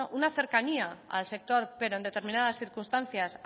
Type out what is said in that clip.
una cercanía al sector pero en determinadas circunstancias